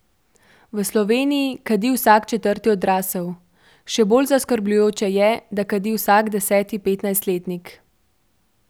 V Sloveniji kadi vsak četrti odrasel, še bolj zaskrbljujoče je, da kadi vsak deseti petnajstletnik.